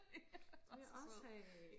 det vil jeg også have